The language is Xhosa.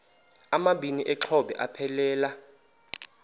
amabini exhobe aphelela